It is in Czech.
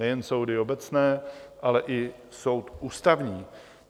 Nejen soudy obecné, ale i soud Ústavní.